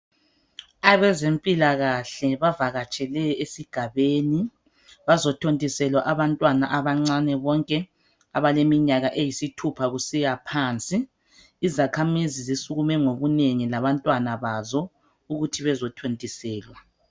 Abezempilakahle bavakatshele esigabeni bazothondisela abantwana abancane bonke abaleminyaka eyisithupha kusiya phansi. Izakhamizi zisukume ngobunengi labantwana bazo ukuthi bezothontiselwa.